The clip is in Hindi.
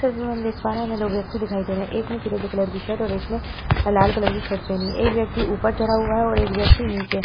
इस तस्वीर में हम देख पा रहे हैं हमें दो व्यक्ति दिखाई दे रहे हैं। एक ने फिरोजी कलर का शर्ट और एक ने लाल कलर की शर्ट पहनी है। एक व्यक्ति ऊपर चढ़ा है और एक व्यक्ति नीचे है।